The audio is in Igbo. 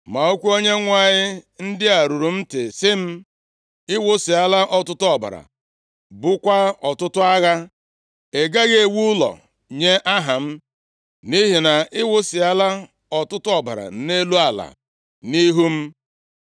ma okwu Onyenwe anyị ndị a ruru m ntị sị m, ‘Ị wụsịala ọtụtụ ọbara, bukwaa ọtụtụ agha. Ị gaghị ewu ụlọ nye Aha m, nʼihi na ị wụsịala ọtụtụ ọbara nʼelu ala nʼihu m.